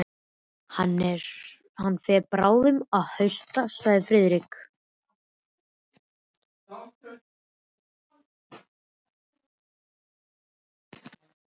Hann fer bráðum að hausta sagði Friðrik.